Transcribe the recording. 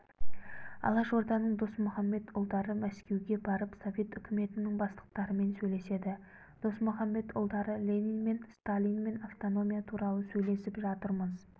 алашорданың досмұқамбетұлдары мәскеуге барып совет үкіметінің бастықтарымен сөйлеседі досмұқамбетұлдары ленинмен сталинмен автономия туралы сөйлесіп жатырмыз